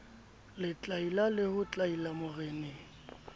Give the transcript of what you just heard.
letlaila le ho tlaila moreneng